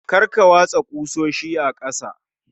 Kar Ka watsa ƙusoshi a ƙasa